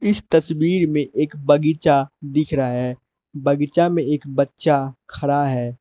इस तस्वीर में एक बगीचा दिख रहा है बगीचा में एक बच्चा खड़ा है।